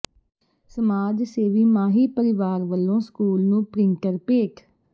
ਸਮਾਜ ਸੇਵੀ ਮਾਹੀ ਪਰਿਵਾਰ ਵਲੋਂ ਸਕੂਲ ਨੂੰ ਪਿ੍ੰਟਰ ਭੇਟ